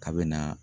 Kabini na